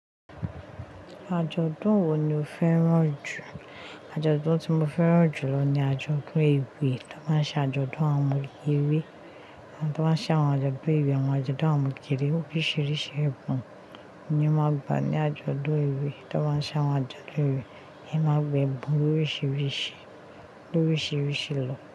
Àjọ̀dún wo ni o fẹ́ràn jù? Àjọ̀dún tí mo fẹ́ràn jù lọ ni àjọ̀dún ewé. Wọ́n máa ń ṣe àjọ̀dún àwọn ewé. Àwọn tó máa ń ṣe àwọn k, sawon pe àjọ̀dún ewé, àwọn àjọ̀dún àwọn omo kèkèrè oríṣiríṣi ẹ̀yan ni màá gbà ní àjọ̀dún ìwé. Ta bá ń ṣ'àwọn àjọ̀dún ewé, è máa gbẹ̀bùn lóríṣiríṣi, lóríṣiríṣi lọ.